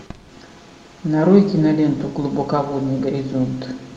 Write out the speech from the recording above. нарой киноленту глубоководный горизонт